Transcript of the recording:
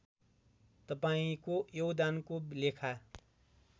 तपाईँको योगदानको लेखा